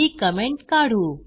ही comment काढू